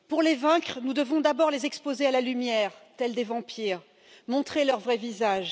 Pour les vaincre, nous devons d'abord les exposer à la lumière, tels des vampires, montrer leur vrai visage.